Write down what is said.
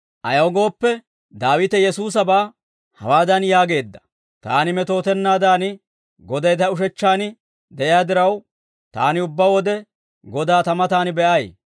Ayaw gooppe, Daawite Yesuusabaa hawaadan yaageedda; « ‹Taani metootennaadan, Goday ta ushechchaan de'iyaa diraw, taani ubbaa wode Godaa ta matan be'ay.